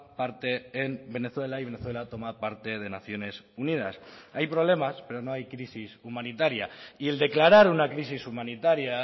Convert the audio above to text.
parte en venezuela y venezuela toma parte de naciones unidas hay problemas pero no hay crisis humanitaria y el declarar una crisis humanitaria